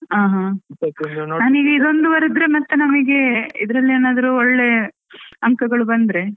ಹಾ ಹಾ. ನಮಿಗೆ ಇದ್ ಒಂದು ಬರಿದ್ರೆ ಮತ್ತೆ ನಮ್ಗೆ ಇದ್ರಲ್ಲಿ ಏನಾದ್ರು ಒಳ್ಳೆ ಅಂಕಗಳು ಬಂದ್ರೆ.